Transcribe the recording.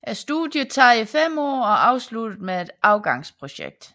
Studiet tager 5 år og afsluttes med et afgangsprojekt